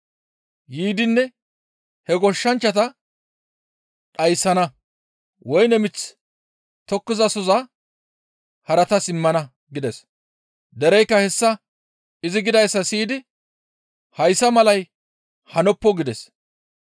Yiidinne he goshshanchchata dhayssana; woyne mith tokkizasohoza haratas immana» gides; dereykka hessa izi gidayssa siyidi, «Hayssa malay hanoppo» gides.